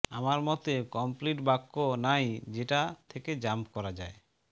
আমার মতে কমপ্লিট বাক্য নাই যেটা থেকে জাম্প করা যায়